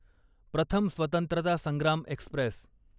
प्रथम स्वत्रंतता संग्राम एक्स्प्रेस